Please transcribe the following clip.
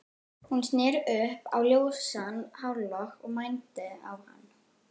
Hún sneri upp á ljósan hárlokk og mændi á hann.